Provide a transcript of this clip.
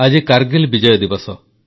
ଆଜି କାରଗିଲ ବିଜୟ ଦିବସ